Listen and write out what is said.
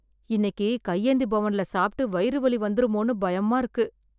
இன்னைக்கு கையேந்தி பவன்ல சாப்பிட்டு வயிறு வலி வந்துருமோன்னு பயமா இருக்கு